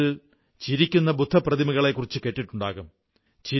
നിങ്ങൾ ചിരിക്കുന്ന ബുദ്ധപ്രതിമകളെക്കുറിച്ചു കേട്ടിട്ടുണ്ടാകും